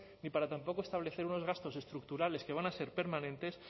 ni para tampoco establecer unos gastos estructurales que van a ser permanentes